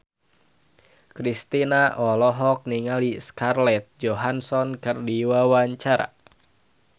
Kristina olohok ningali Scarlett Johansson keur diwawancara